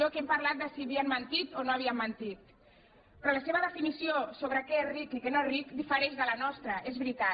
aquí hem parlat de si havien mentit o no havien mentit però la seva definició sobre què és ric i què no és ric difereix de la nostra és veritat